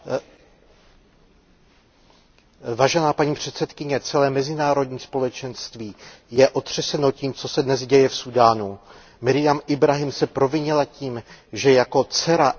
Paní předsedající, celé mezinárodní společenství je otřeseno tím, co se dnes děje v Súdánu. Marjam Jahjá Ibráhímová se provinila tím, že jako dcera etiopské křesťanky se provdala za křesťana.